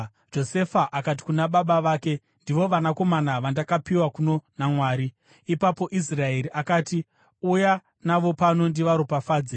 Josefa akati kuna baba vake, “Ndivo vanakomana vandakapiwa kuno naMwari.” Ipapo Israeri akati, “Uya navo pano ndivaropafadze.”